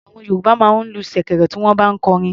Àwọn Yorùbá máa ń lu ṣèkẹ̀rẹ̀ bí wọ́n bá ń kọrin.